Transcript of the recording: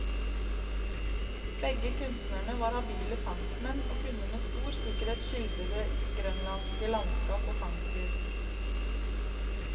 Begge kunstnerne var habile fangstmenn, og kunne med stor sikkerhet skildre det grønlandske landskap og fangstliv.